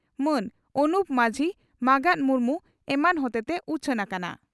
ᱢᱟᱱ ᱚᱱᱩᱯ ᱢᱟᱹᱡᱷᱤ ᱢᱟᱸᱜᱟᱛ ᱢᱩᱨᱢᱩ ᱮᱢᱟᱱ ᱦᱚᱛᱮᱛᱮ ᱩᱪᱷᱟᱹᱱ ᱟᱠᱟᱱᱟ ᱾